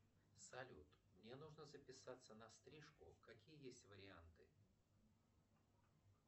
салют мне нужно записаться на стрижку какие есть варианты